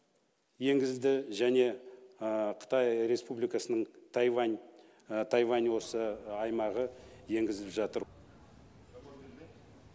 енгізді және қытай республикасының тайвань тайвань осы аймағы енгізіліп жатыр